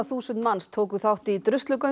þúsund manns tóku þátt í